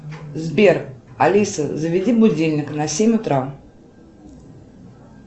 сбер алиса заведи будильник на семь утра